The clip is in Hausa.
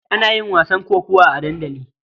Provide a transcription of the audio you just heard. Ana yin wasan kokawa a dandali.